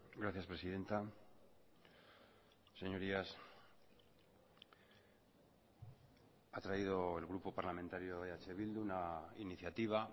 gracias presidenta señorías ha traído el grupo parlamentario eh bildu una iniciativa